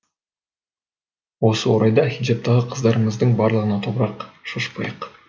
осы орайда хиджабтағы қыздарымыздың барлығына топырақ шашпайық